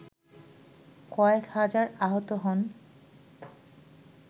কয়েক হাজার আহত হন